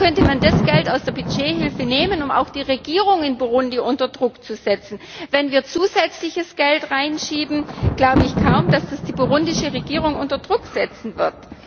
Da könnte man das Geld aus der Budgethilfe nehmen, um auch die Regierung in Burundi unter Druck zu setzen. Wenn wir zusätzliches Geld reinschieben, glaube ich kaum, dass das die burundische Regierung unter Druck setzen wird.